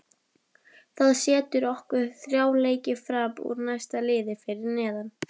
Það setur okkur þrjá leiki fram úr næsta liði fyrir neðan.